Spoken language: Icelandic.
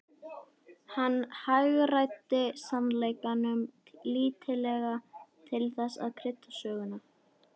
Hann hagræddi sannleikanum lítillega til þess að krydda söguna.